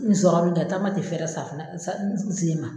N sɔrɔ be kɛ taama te fɛrɛ sa f na sa n se ma